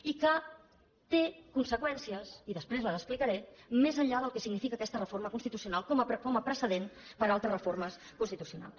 i que té conseqüències i després les explicaré més enllà del que significa aquesta reforma constitucional com a precedent per a altres reformes constitucionals